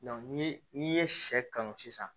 ni n'i ye sɛ kanu sisan